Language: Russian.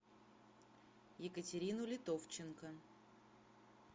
екатерину литовченко